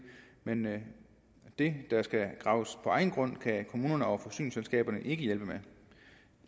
men det der skal graves på egen grund kan kommunerne og forsyningsselskaberne ikke hjælpe